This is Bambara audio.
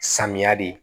Samiya de